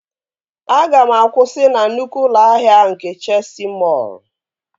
Aga m akwụsị na nnukwu ụlọ ahịa nke Chesi mọọl!